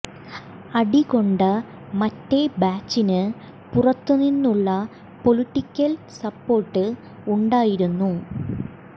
അടി കൊണ്ട മറ്റേ ബാച്ചിന് പുറത്തു നിന്നുള്ള പൊളിറ്റിക്കല് സപ്പോര്ട്ട് ഉണ്ടായിരുന്നു